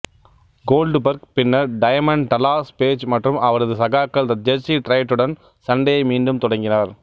Goldberg பின்னர் Diamond Dallas Page மற்றும் அவரது சகாக்கள் த ஜெர்சி ட்ரையட்டுடன் சண்டையை மீண்டும் தொடங்கினார்